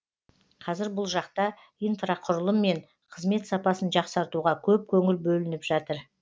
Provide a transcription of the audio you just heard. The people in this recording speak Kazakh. қазір бұл жақта инфрақұрылым мен қызмет сапасын жақсартуға көп көңіл бөлініп жатыр